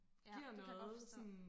ja det kan jeg godt forstå